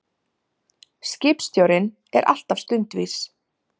Skipstjórinn er alltaf stundvís.